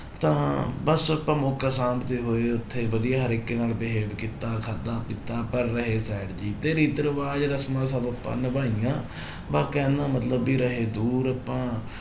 ਤਾਂ ਬਸ ਆਪਾਂ ਮੌਕਾ ਸਾਂਭਦੇ ਹੋਏ ਉੱਥੇ ਵਧੀਆ ਹਰ ਇੱਕੇ ਨਾਲ behave ਕੀਤਾ, ਖਾਧਾ ਪੀਤਾ ਪਰ ਰਹੇ side ਜਿਹੀ ਤੇ ਰੀਤ ਰਿਵਾਜ਼ ਰਸ਼ਮਾਂ ਸਭ ਆਪਾਂ ਨਿਭਾਹੀਆਂ ਬਸ ਕਹਿਣ ਦਾ ਮਤਲਬ ਵੀ ਰਹੇ ਦੂਰ ਆਪਾਂ